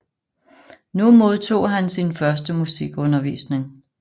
Nu modtog han sin første musikundervisning